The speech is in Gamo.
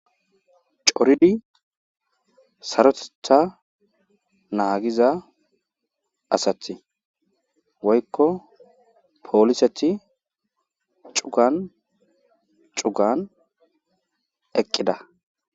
Coridi saroteththa naagiza asati woykko pooliseti cuggan cuggan eqqida.